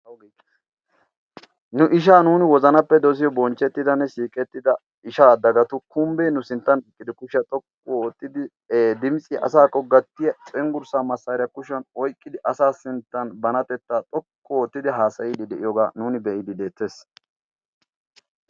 ginu ishaa nuuni wozanappe dosiyo bonchchettidanne siiqettida ishaaaddagatu kumbbee nu sinttan iqqidi kushiyaa xoqqu oottidi e dimisi asaakko gattiya cinggurssaa massaariyaa kushiyan oiqqidi asa sinttan banatettaa xokku oottidi haasayiidi de'iyoogaa nuuni be'iidi deettees?